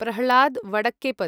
Prahlad Vadakkepat